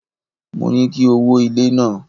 Mo ní kí o wó ilé náà.